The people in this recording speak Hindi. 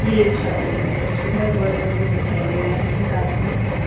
एक शादी का दृश्य है। वर-वधु दिखाई दे रहे हैं साथ में।